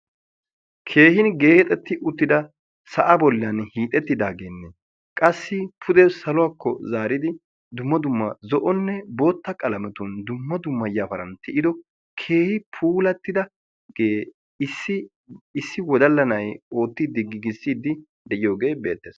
Keehi geexxetti uttidda sa'a bolla hiixxettidad issi wodalla na'ay giigissidde de'iyooge beetees.